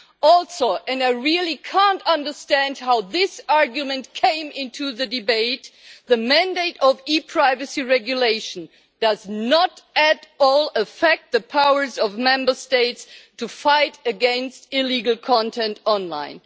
Also and I really cannot understand how this argument came into the debate the mandate of the ePrivacy Regulation does not at all affect the powers of Member States to fight against illegal content online.